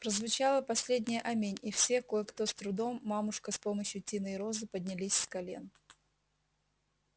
прозвучало последнее аминь и все кое-кто с трудом мамушка с помощью тины и розы поднялись с колен